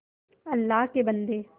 अल्लाह के बन्दे